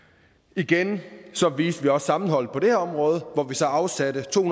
igen viste vi også sammenhold på det her område hvor vi så afsatte to